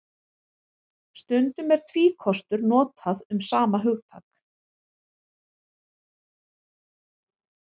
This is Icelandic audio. Stundum er tvíkostur notað um sama hugtak.